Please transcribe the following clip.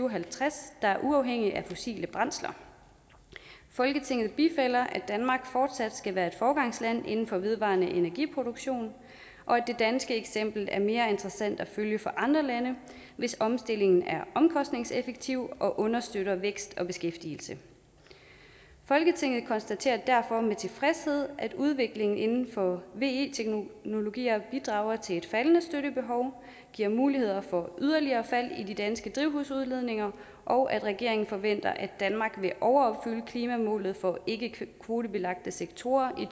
og halvtreds der er uafhængig af fossile brændsler folketinget bifalder at danmark fortsat skal være foregangsland inden for vedvarende energiproduktion og at det danske eksempel er mere interessant at følge for andre lande hvis omstillingen er omkostningseffektiv og understøtter vækst og beskæftigelse folketinget konstaterer derfor med tilfredshed at udviklingen inden for ve teknologier bidrager til et faldende støttebehov og giver muligheder for yderligere fald i de danske drivhusudledninger og at regeringen forventer at danmark vil overopfylde klimamålet for de ikkekvotebelagte sektorer i